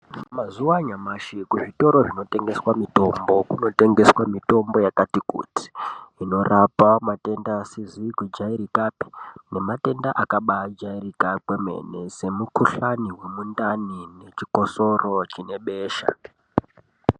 Mazuva anyamashi kuzvitoro zvinotengeswa mitombo kunotengeswa mitombo yakati kuti. Inorapa matenda asizi kujairikapi nematenda akabajairika kwemene semukuhlani vemundani nechikosoro chine besha.